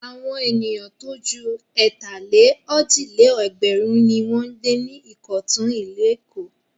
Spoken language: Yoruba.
Àwọn ènìyàn tó ju ẹ̀tàlé-òjì-lé-ẹgbẹ̀run ni wọ́n ń gbé ní Ìkọ̀tún, ìlú Èkó.